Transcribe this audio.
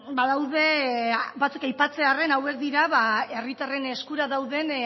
badaude batzuk aipatzearren hauek dira herritarren eskura dauden